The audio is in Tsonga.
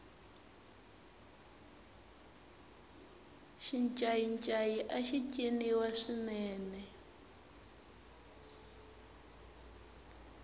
xincayincayi axi ciniwa swinene